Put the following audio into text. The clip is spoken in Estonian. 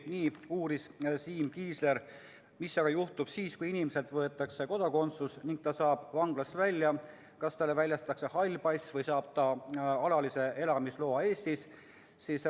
Nii uuris Siim Kiisler, mis juhtub siis, kui inimeselt on võetud kodakondsus ning ta saab vanglast välja: kas talle väljastatakse hall pass või saab ta alalise elamisloa Eestis?